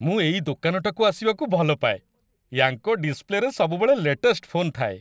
ମୁଁ ଏଇ ଦୋକାନଟାକୁ ଆସିବାକୁ ଭଲ ପାଏ। ୟାଙ୍କ ଡିସ୍‌ପ୍ଲେରେ ସବୁବେଳେ ଲେଟେଷ୍ଟ ଫୋନ୍ ଥାଏ ।